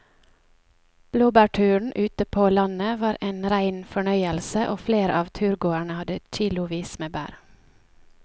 Blåbærturen ute på landet var en rein fornøyelse og flere av turgåerene hadde kilosvis med bær.